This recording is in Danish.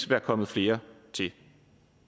være kommet flere til